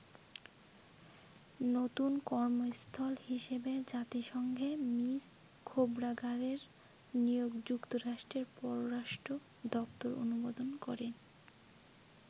নতুন কর্মস্থল হিসেবে জাতিসংঘে মিস খোবড়াগাডের নিয়োগ যুক্তরাষ্ট্রের পররাষ্ট্র দপ্তর অনুমোদন করে।